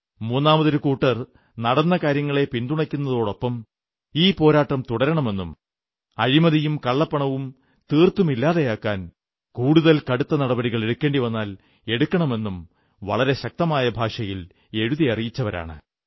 മൂന്നാമതൊരു കൂട്ടർ നടന്ന കാര്യങ്ങളെ പിന്തുണയ്ക്കുന്നതോടൊപ്പം ഈ പോരാട്ടം തുടരണമെന്നും അഴിമതിയും കള്ളപ്പണവും തീർത്തും ഇല്ലാതെയാക്കാൻ കൂടുതൽ കടുത്ത നടപടികൾ എടുക്കേണ്ടി വന്നാൽ എടുക്കണമെന്നും വളരെ ശക്തമായ ഭാഷയിൽ എഴുതി അറിയിച്ചവരാണ്